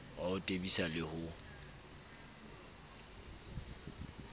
wa ho tebisa le ho